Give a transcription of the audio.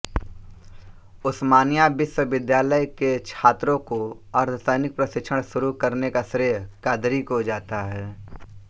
उस्मानिया विश्वविद्यालय के छात्रों को अर्धसैनिक प्रशिक्षण शुरू करने का श्रेय क़ादरी को जाता है